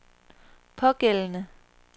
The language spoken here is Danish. pågældende